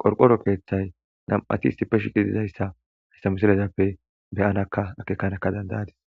qorqoro peeththay nam7ati issippe shiqi dizayssa hista musilezappe beyanaka akeekanaka dandayadis